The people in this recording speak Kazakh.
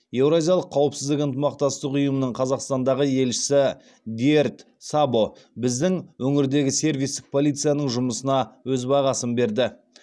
еуразиялық қауіпсіздік ынтымақтастық ұйымның қазақстандағы елшісі дьердь сабо біздің өңірдегі сервистік полицияның жұмысына өз бағасын берді